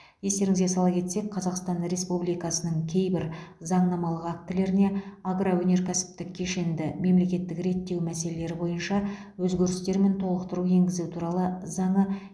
естеріңізге сала кетсек қазақстан республикасының кейбір заңнамалық актілеріне агроөнеркәсіптік кешенді мемлекеттік реттеу мәселелері бойынша өзгерістер мен толықтыру енгізу туралы заңы